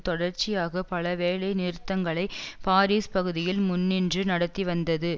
தொடர்ச்சியாக பல வேலை நிறுத்தங்களை பாரிஸ் பகுதியில் முன்னின்று நடத்திவந்தது